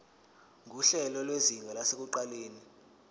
nguhlelo lwezinga lasekuqaleni